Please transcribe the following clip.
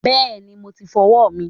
Bẹẹni, mo ti fọwọ́ mi.